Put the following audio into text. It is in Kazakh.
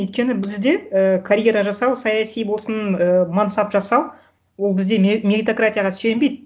өйткені бізде ыыы карьера жасау саяси болсын ыыы мансап жасау ол бізде меритократияға сүйенбейді